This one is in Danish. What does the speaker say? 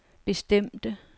bestemte